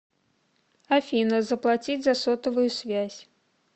афина заплатить за сотовую связь